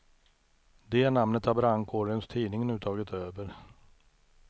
Det namnet har brandkårens tidning nu tagit över.